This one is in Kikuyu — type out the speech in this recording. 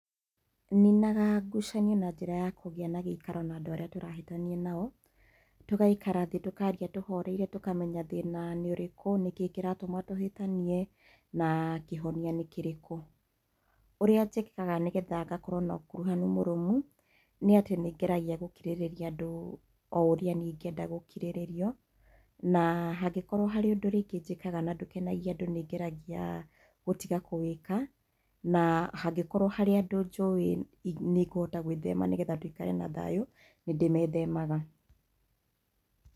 Ninaga ngucanio na njĩra ya kũgĩa na gĩikaro na andũ arĩa tũrahĩtania nao, tũgaikara thĩ tũkaria tũhoreire tũkamenya thĩna nĩ ũrĩkũ, nĩkĩĩ kĩratũma tũhĩtanie na kĩhonia nĩ kĩrikũ. Ũrĩa njĩkaga nĩgetha ngakorwo na ũkuruhanu mũrũmu, nĩ atĩ nĩngeragia gũkirĩrĩa andũ o ũrĩa niĩ ingĩenda gũkirĩrĩrio, na hangĩkorwo harĩ ũndũ rĩngĩ njĩkaga na ndũkenagia andũ nĩ ngeragia gũtiga kũwĩka, na hangĩkorwo harĩ andũ njũĩ nĩngũhota gwĩthema nĩgetha tũikare na thayũ, nĩ ndĩmethemaga.